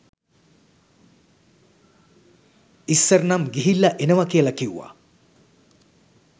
ඉස්සර නම් ගිහිල්ල එනව කියල කිව්ව